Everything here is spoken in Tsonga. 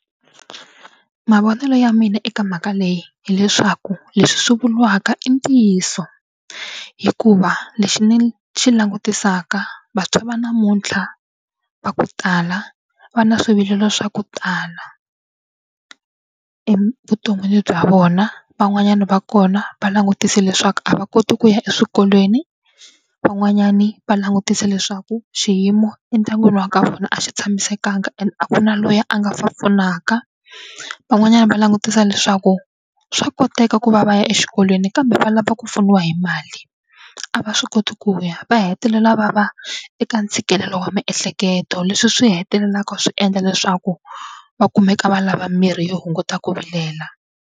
Mavonelo ya mina eka mhaka leyi hileswaku leswi swi vuriwaka i ntiyiso hikuva lexi ni xi langutisaka vantshwa va namuntlha va ku tala va na swivilelo swa ku tala evuton'wini bya vona. Van'wanyana va kona va langutise leswaku a va koti ku ya eswikolweni, van'wanyani va langutise leswaku xiyimo endyangwini wa ka vona a xi tshamisekanga ende a ku na loyi a nga va pfunaka, van'wanyani va langutisa leswaku swa koteka ku va va ya exikolweni kambe va lava ku pfuniwa hi mali a va swi koti ku ya va hetelela va va eka ntshikelelo wa miehleketo leswi swi hetelelaka swi endla leswaku va kumeka va lava mirhi yo hunguta ku vilela.